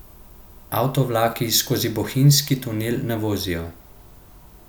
Avtovlaki skozi bohinjski tunel ne vozijo.